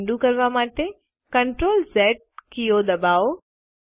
ક્રિયા અન્ડું કરવા માટે CTRL ઝ કીઓ ડબાઓ